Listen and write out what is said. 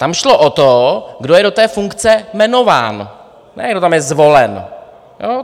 Tam šlo o to, kdo je do té funkce jmenován, ne kdo tam je zvolen.